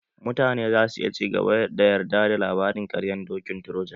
Mutane za su iya ci gaba da yarda da labarin ƙaryan dokin troja